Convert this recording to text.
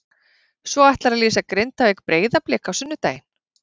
Svo ætlarðu að lýsa Grindavík- Breiðablik á sunnudaginn?